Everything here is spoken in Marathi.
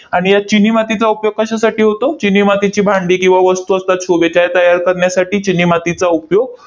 आणि या चिनी मातीचा उपयोग कशासाठी होतो? चिनी मातीची भांडी किंवा वस्तू असतात शोभेचे त्या तयार करण्यासाठी चिनी मातीचा उपयोग